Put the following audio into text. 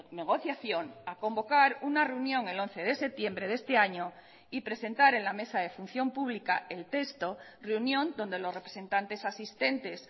negociación a convocar una reunión el once de septiembre de este año y presentar en la mesa de función pública el texto reunión donde los representantes asistentes